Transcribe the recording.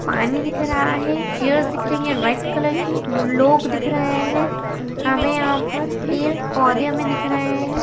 पानी दिख रहा है चेयर्स दिख रही हैं रेड कलर की ल-लोग दिख रहे हैं हमें यहाँ पर पेड़ पौधे हमें दिख रहे हैं।